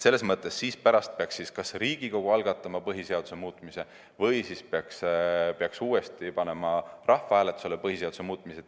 Selles mõttes peaks pärast kas Riigikogu algatama põhiseaduse muutmise või peaks uuesti panema rahvahääletusele põhiseaduse muutmise.